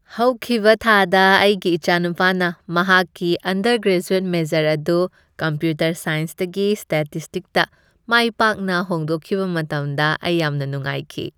ꯍꯧꯈꯤꯕ ꯊꯥꯗ ꯑꯩꯒꯤ ꯏꯆꯥꯅꯨꯄꯥꯅ ꯃꯍꯥꯛꯀꯤ ꯑꯟꯗꯔ ꯒ꯭ꯔꯦꯖꯨꯑꯦꯠ ꯃꯦꯖꯔ ꯑꯗꯨ ꯀꯝꯄ꯭ꯌꯨꯇꯔ ꯁꯥꯏꯟꯁꯇꯒꯤ ꯁ꯭ꯇꯦꯇꯤꯁꯇꯤꯛꯁꯇ ꯃꯥꯏ ꯄꯥꯛꯅ ꯍꯣꯡꯗꯣꯛꯈꯤꯕ ꯃꯇꯝꯗ ꯑꯩ ꯌꯥꯝꯅ ꯅꯨꯡꯉꯥꯏꯈꯤ ꯫